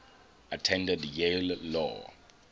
attended yale law